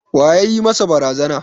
Wa ya yi masa barazana?